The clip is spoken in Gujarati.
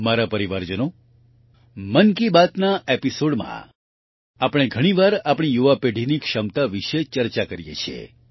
મારા પરિવારજનો મન કી બાતના Episodeમાં આપણે ઘણીવાર આપણી યુવા પેઢીની ક્ષમતા વિશે ચર્ચા કરીએ છીએ